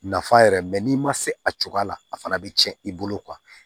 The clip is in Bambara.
Nafa yɛrɛ n'i ma se a cogoya la a fana bɛ tiɲɛ i bolo